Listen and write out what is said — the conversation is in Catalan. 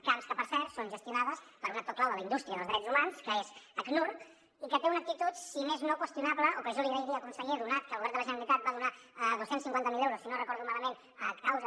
camps que per cert són gestionades per un actor clau de la indústria dels drets humans que és acnur i que té una actitud si més no qüestionable o que jo li agrairia conseller donat que el govern de la generalitat va donar dos cents i cinquanta miler euros si no recordo malament a causa